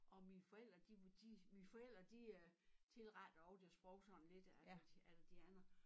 Og mine forældre de var de mine forældre de øh tilrettede også deres sprog sådan lidt a la a la de andre